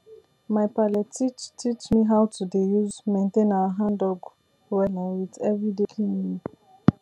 my palle teach teach me how to dey use maintain our handdug wella with everyday cleaning